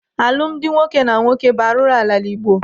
Alụmdi nwoke na nwoke bụ arụ n'ala Igbo.